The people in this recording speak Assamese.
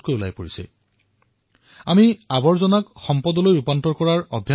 আমাৰ বাবে এয়া প্ৰয়োজনীয় যে আৱৰ্জনাৰ পৰা সম্পত্তি নিৰ্মাণৰ আমাৰ যি সংস্কৃতি এয়া আমাৰ সমাজত বিকশিত হওক